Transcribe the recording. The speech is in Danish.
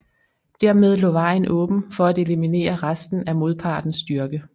Dermed lå vejen åben for at eliminere resten af modpartens styrke